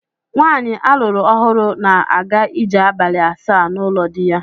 Nwaanyi a lụrụ ọhụrụ na-aga ije abalị asaa n'ụlọ di ya.